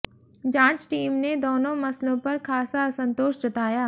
जांच टीम ने दोनों मसलों पर खासा असंतोष जताया